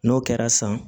N'o kɛra san